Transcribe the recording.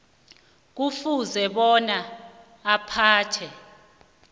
kufuze bona aphathwe